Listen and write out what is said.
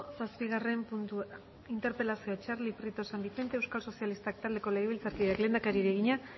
zazpigarren puntua interpelazioa txarli prieto san vicente euskal sozialistak taldeko legebiltzarkideak lehendakariari egina